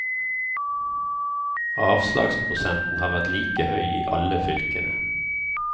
Avslagsprosenten har vært like høy i alle fylkene.